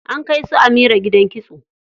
An kai su Amira gidan kitso.